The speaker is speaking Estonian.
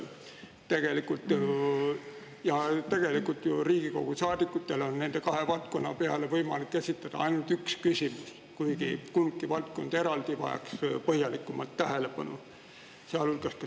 Tegelikult on ju Riigikogu saadikutel nende kahe valdkonna peale võimalik esitada ainult üks küsimus, kuigi mõlemad valdkonnad vajaks eraldi põhjalikumat tähelepanu.